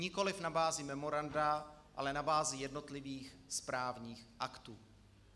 Nikoli na bázi memoranda, ale na bázi jednotlivých správních aktů.